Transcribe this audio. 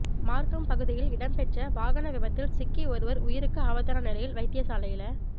மார்க்கம் பகுதியில் இடம்பெற்ற வாகன விபத்தில் சிக்கி ஒருவர் உயிருக்கு ஆபத்தான நிலையில் வைத்தியசாலையில